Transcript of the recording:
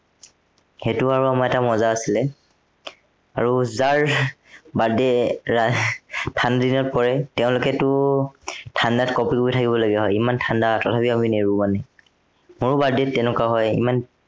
সেইটো আৰু আমাৰ এটা মজা আছিলে। আৰ যাৰ এৰ birthday এৰ ঠাণ্ডাদিনত পৰে তেওঁলোকেতো ঠাণ্ডাত কঁপি কঁপি থাকিবলগীয়া হয়। ইমান ঠাণ্ডা তথাপি আমি নেৰো মানে। মোৰো birthday ত তেনেকুৱা হয়।